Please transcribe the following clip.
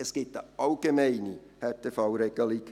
Es gibt eine allgemeine Härtefallregelung.